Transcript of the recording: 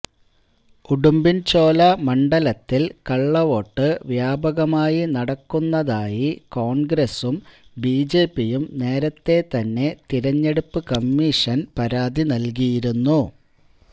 ഉടുമ്പൻചോല മണ്ഡലത്തിൽ കള്ളവോട്ട് വ്യാപകമായി നടക്കുന്നതായി കോൺഗ്രസും ബിജെപിയും നേരത്തെ തന്നെ തെരഞ്ഞെടുപ്പ് കമ്മീഷന് പരാതി നൽകിയിരുന്നു